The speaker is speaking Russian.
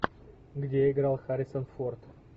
где играл харрисон форд